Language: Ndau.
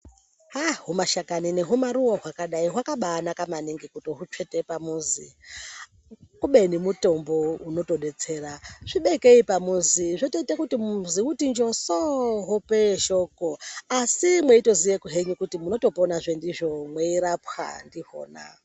Aaa humashakani nehumaruva hwakadai hwakabana maningi kutomutswete pamuzi. Kubeni mutombo unotobetsera tibekei pamuzi zvotoite kuti muzi uti njoso muhope yeshoko. Asi mweitoziye henyu kuti munotopona henyu ndizvo mweirapwa ndihona.